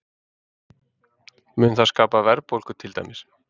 Mun það skapa verðbólgu til dæmis?